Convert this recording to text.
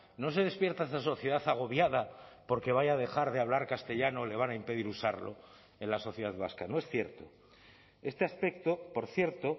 no se despierta esa sociedad agobiada porque vaya a dejar de hablar castellano le van a impedir usarlo en la sociedad vasca no es cierto este aspecto por cierto